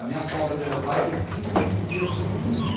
A minha folga do meu pai é de quinze em quinze dias num domingo.